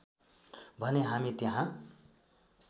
भने हामी त्यहाँ